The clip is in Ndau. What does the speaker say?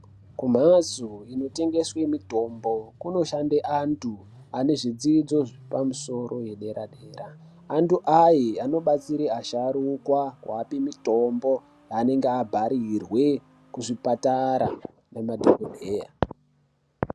Ku mhasto ino tengeswe mitombo kuno shande antu ane zvidzidzo zvepa musoro ye dera dera antu aye ano batsire asharukwa kuvape mitombo yanenge abharirwe ku zvipatara nge madhokodheya.